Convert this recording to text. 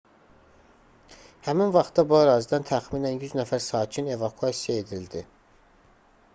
həmin vaxtda bu ərazidən təxminən 100 nəfər sakin evakuasiya edildi